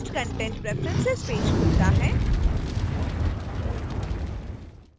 enhanced content preferences page खुलता है